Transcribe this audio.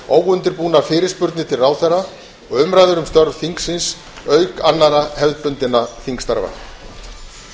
óundirbúnar fyrirspurnir til ráðherra og umræður um störf þingsins auk annarra hefðbundinna þingstarfa